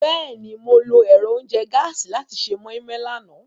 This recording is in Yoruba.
Bẹ́ẹ̀ni, Mo lo ẹ́rọ ounjẹ gàasi làti ṣe moi-moi làná.